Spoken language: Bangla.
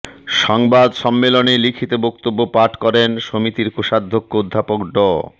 সংবাদ সম্মেলনে লিখিত বক্তব্য পাঠ করেন সমিতির কোষাধ্যক্ষ অধ্যাপক ড